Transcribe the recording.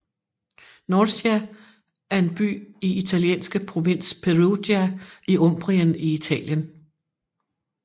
Norcia er en by i italienske provins Perugia i Umbrien i Italien